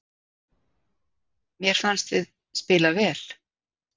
Mér fannst við spila vel